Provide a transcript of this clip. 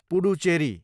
Puducherry